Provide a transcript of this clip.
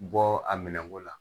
Bɔ a minɛko la